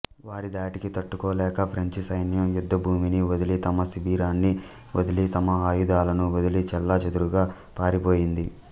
వారి ధాటికి తట్టుకోలేక ఫ్రెంచి సైన్యం యుద్ధభూమిని వదలి తమ శిబిరాన్ని వదిలి తమ ఆయుధాలను వదిలి చెల్లాచెదురుగా పారిపోయింది